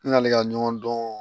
N'ale ka ɲɔgɔn dɔn